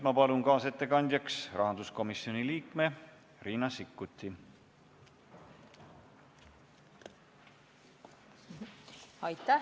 Palun kaasettekande tegemiseks kõnetooli rahanduskomisjoni liikme Riina Sikkuti!